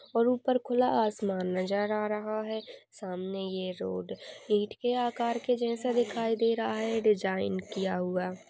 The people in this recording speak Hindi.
और ऊपर खुला आसमान नजर आ रहा है। सामने ये रोड ईट के आकार के जैसा दिखाई दे रहा है डिजाइन किया हुआ --